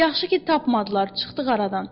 Yaxşı ki, tapmadılar, çıxdıq aradan.